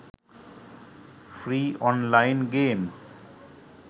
free online games